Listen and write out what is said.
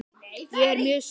Ég er mjög sátt.